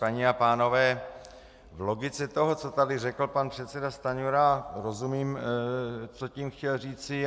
Paní a pánové, v logice toho, co tady řekl pan předseda Stanjura, rozumím, co tím chtěl říci.